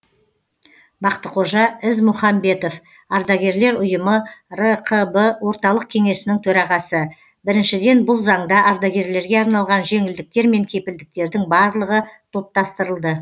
бақтықожа ізмұхамбетов ардагерлер ұйымы рқб орталық кеңесініің төрағасы біріншіден бұл заңда ардагерлерге арналған жеңілдіктер мен кепілдіктердің барлығы топтастырылды